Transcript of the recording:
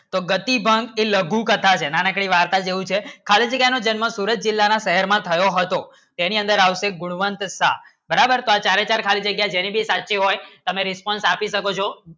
તો ગતિભંગ એ લઘુકથા છે નાના કોઈ વાર્તા કહું છે ખાલી જગ્યા માં જન્મ સુરત જીલો માં શહેર માં થયો હતો એની અંદર આવશે બળવંત શાહ બરાબર જો ચારી ચાર ખાલી જગ્ય જેની પણ સાચી હોય તમે response આપી શકો છો